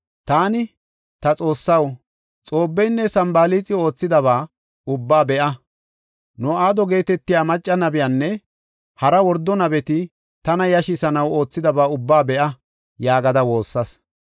Taani, “Ta Xoossaw, Xoobeynne Sanbalaaxi oothidaba ubbaa be7a. No7aado geetetiya macca nabiyanne hara wordo nabeti tana yashisanaw oothidaba ubba be7a” yaagada woossas.